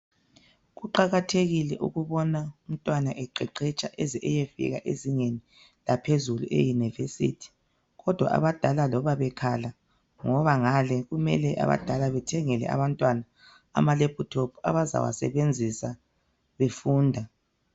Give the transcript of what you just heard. Kuqakathekile ukubona umntwana eqeqesha eze eyefika ezingeni eliphezulu e university ngoba loba abadala bekhala ngoba ngale abadala kumele bethengele abantwana amalaptop abazawasenzisa befunda